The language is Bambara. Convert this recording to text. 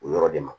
O yɔrɔ de ma